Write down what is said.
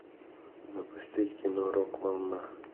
запусти кино рок волна